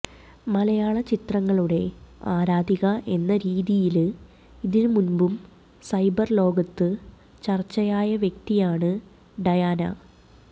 മലയാള ചിത്രങ്ങളുടെ ആരാധിക എന്ന രീതിയില് ഇതിനു മുന്പും സൈബര് ലോകത്ത് ചര്ച്ചയായ വ്യക്തിയാണ് ഡയാന